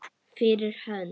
Fyrir hönd.